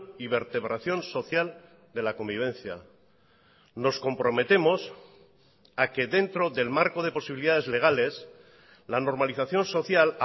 y vertebración social de la convivencia nos comprometemos a que dentro del marco de posibilidades legales la normalización social